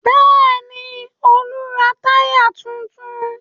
Bẹ́ẹ̀ ni, Olú ra tyre tuntun.